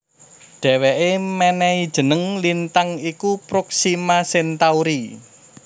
Dhèwèké mènèhi jeneng lintang iku Proxima Centauri